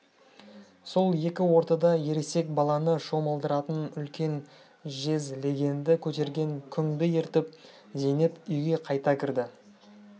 сол екі ортада ересек баланы шомылдыратын үлкен жез легенді көтерген күңді ертіп зейнеп үйге қайта кірді